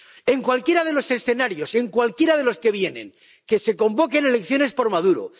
En cualquiera de los escenarios, en cualquiera de los que vienen —que se convoquen elecciones por Maduro